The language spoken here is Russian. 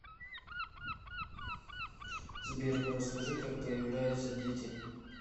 сбер расскажи как появляются дети